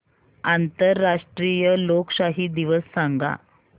आंतरराष्ट्रीय लोकशाही दिवस सांगा